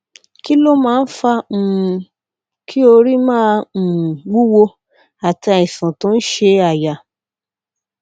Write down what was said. kí ló máa ń fa um kí orí máa um wúwo àti àìsàn tó ń ṣe àyà